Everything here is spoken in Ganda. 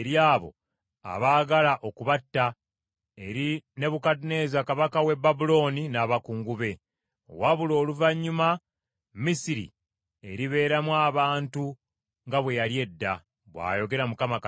Ndibawaayo eri abo abaagala okubatta, eri Nebukadduneeza kabaka w’e Babulooni n’abakungu be. Wabula oluvannyuma, Misiri eribeeramu abantu nga bwe yali edda,” bw’ayogera Mukama Katonda.